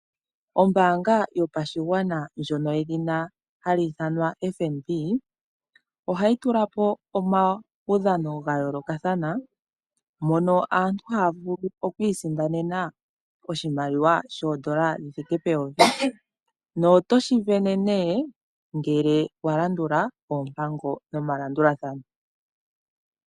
Yimwe yomoombaanga dhopashigwana yedhinaFNB, oha yi etapo omaudhano gayoolokathana mono aantu haa kutha ombinga etayii sindanene oshimaliwa shithike peyovi nenge kehe shoka yalongekidhilwa aakuthimbinga yasho nohashi sindanwa uuna omukuthimbinga alandula oompango nomalandulathano.